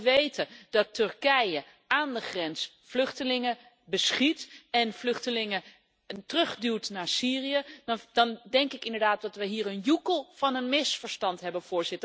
Als we weten dat Turkije aan de grens vluchtelingen beschiet en terugduwt naar Syrië, dan denk ik inderdaad dat we hier een joekel van een misverstand hebben.